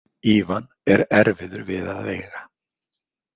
Ívan er erfiður við að eiga.